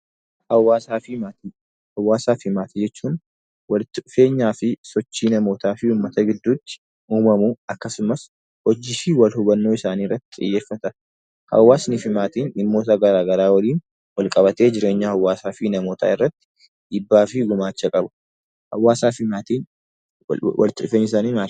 Hawwaasaa fi maatii jechuun walitti dhufeenyaa fi sochii namootaa fi uummata gidduutti uumamuu akkasumas hojii fi warra hubannoo isaanii irratti dhiyaafatan. Hawwaasnii fi maatiin dhimmoota garaa garaa waliin wal qabatee jireenya namootaa fi hawwaasaa irratti jibaa fi gumaachu qabu. Hawwaasaa fi maatiin walitti dhufeenyi isaanii maal?